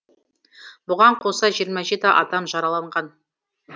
бұған қоса жиырма жеті адам жараланған